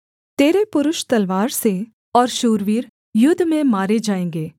तेरे पुरुष तलवार से और शूरवीर युद्ध में मारे जाएँगे